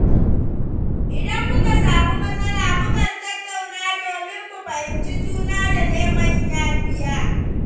Idan muka samu matsala, mu kan tattauna domin mu fahimci juna da neman yafiya.